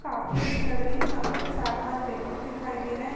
काफी अच्छी लग रही है यहाँ पर चार पाँच व्यक्ति दिखाई दे रहे है।